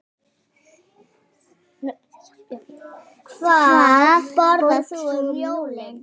Hvað borðar þú um jólin?